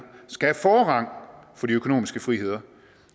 skal have forrang for de økonomiske friheder